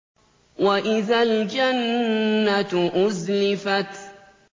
وَإِذَا الْجَنَّةُ أُزْلِفَتْ